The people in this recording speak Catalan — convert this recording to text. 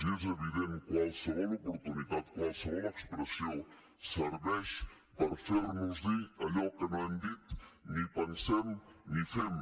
i és evident qualsevol oportunitat qualsevol expressió serveix per fer nos dir allò que no hem dit ni pensem ni fem